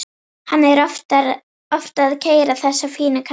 Hann er oft að keyra þessa fínu kalla.